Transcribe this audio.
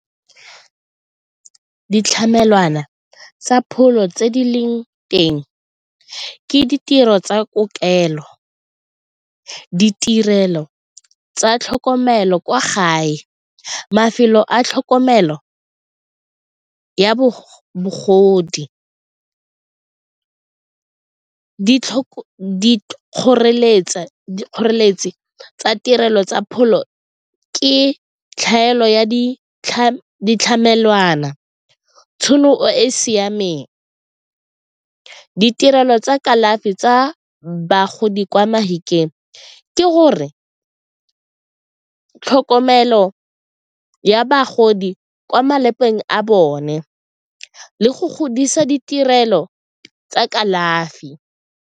Ditlamelwana tsa pholo tse di leng teng ke ditiro tsa kokelo ditirelo tsa tlhokomelo kwa gae, mafelo a tlhokomelo ya bagodi kgoreletsa. Dikgoreletsi tsa tirelo tsa pholo ke tlhaelo ya ditlamelwana, tšhono e e siameng, ditirelo tsa kalafi tsa bagodi kwa Mafikeng ke gore tlhokomelo ya bagodi kwa malapeng a bone le go godisa ditirelo tsa kalafi.